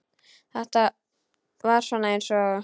Þetta er svona eins og.